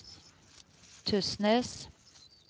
Tysnes